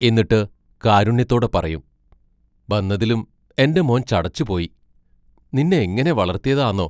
എന്നിട്ട് കാരുണ്യത്തോടെ പറയും: ബന്നതിലും എന്റെ മോൻ ചടച്ചുപോയ് നിന്ന എങ്ങനെ വളർത്തിയതാന്നോ?